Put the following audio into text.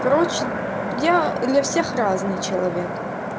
короче я для всех разный человек